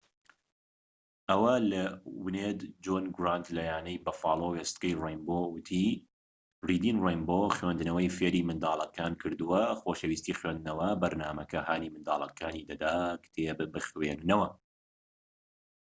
جۆن گرانت لە یانەی بەفالۆ wned ەوە لە وێستگەی رەینبۆ وتی ریدین رەینبۆ خوێندنەوەی فێری منداڵەکان کردووە، خۆشەویستی خوێندنەوە [بەرنامەکە] هانی منداڵەکانی دەدا کتێب بخوێننەوە.